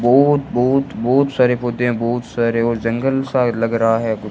बहुत बहुत बहुत सारे पौधे बहुत सारे और जंगल से लग रहा है।